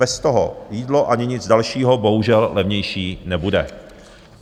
Bez toho jídlo ani nic dalšího bohužel levnější nebude.